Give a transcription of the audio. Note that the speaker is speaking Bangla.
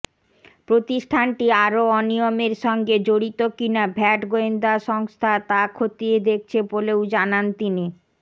প্রতিষ্ঠানটি আরও অনিয়মের সঙ্গে জড়িত কিনা ভ্যাট গোয়েন্দা সংস্থা তা খতিয়ে দেখছে বলেও জানান তিনি